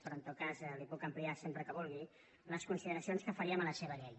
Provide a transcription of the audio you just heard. però en tot cas les hi puc ampliar sempre que vulgui les consideracions que faríem a la seva llei